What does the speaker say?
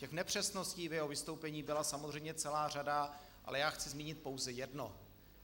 Těch nepřesností v jeho vystoupení byla samozřejmě celá řada, ale já chci zmínit pouze jedno.